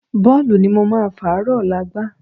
Bọ́ọ̀lù ni mo máa fàárọ̀ ọ̀la gbá